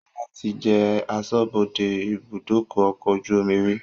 Sọlá tí jẹ aṣọ́bodè ibùdókọ̀ ọkọ̀ ojú omi rí